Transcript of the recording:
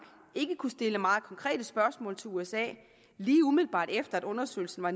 ikke kunne stille meget konkrete spørgsmål til usa lige umiddelbart efter at undersøgelsen var